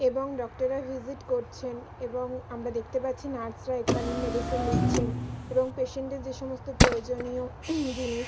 এবং ডক্টর -এর ভিজিট করছেন এবং আমরা দেখতে পাচ্ছি নার্স -রা এখানেই মেডিসিন নিচ্ছেন এবং পেশেন্ট -এর যে সমস্ত প্রয়োজনীয় জিনিস--